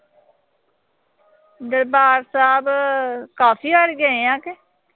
ਦਰਬਾਰ ਸਾਹਿਬ ਅਹ ਕਾਫ਼ੀ ਵਾਰੀ ਗਏ ਆਂ ਗੇ।